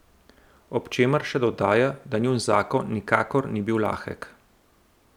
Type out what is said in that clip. Ob čemer še dodaja, da njun zakon nikakor ni bil lahek.